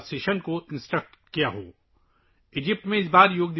یہ پہلا موقع ہے جب کسی سعودی خاتون نے مرکزی یوگا سیشن کی ہدایت کی ہے